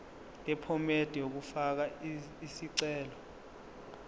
yephomedi yokufaka isicelo